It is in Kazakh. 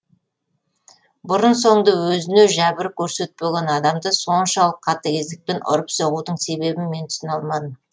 бұрын соңды өзіне жәбір көрсетпеген адамды соншалық қатыгездікпен ұрып соғудың себебін мен түсіне алмадым